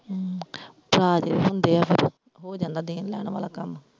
ਹਾਂ ਹੁੰਦੇ ਆ ਫਿਰ ਹੋ ਜਾਂਦਾ ਦੇਣ ਲੈਣ ਵਾਲਾ ਕੰਮ।